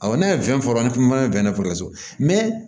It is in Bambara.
Awɔ n'a ye fɛn fɔra an kuma bɛnnɛforo la so